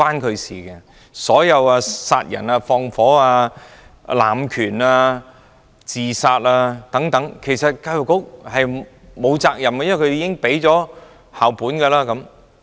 就算是殺人放火、濫權、自殺等，所有事情教育局都沒有責任，因為已實行校本管理。